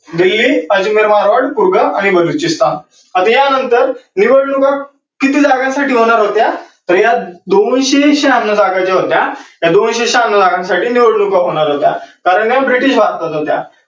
दिल्ली, आणि बलुचिस्थान. आता या नंतर निवडणुका किती जागांसाठी होणार होत्या? तर ह्या दोनशे श्याहान्नौ जागा ज्या होत्या, ह्या दोनशे श्याहान्नौ जागांसाठी निवडणुका होणार होत्या.